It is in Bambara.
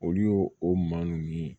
Olu y'o o maa nunnu ye